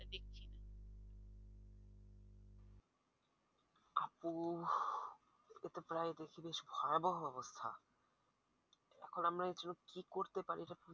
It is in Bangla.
এতো প্রায় দেশে প্রায় ভয়াবহ অবস্থা এখন আমরা এই জন্য কি করতে পারি